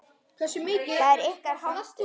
Það er ykkar háttur.